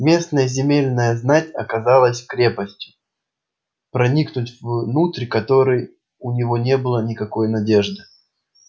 местная земельная знать оказалась крепостью проникнуть внутрь которой у него не было никакой надежды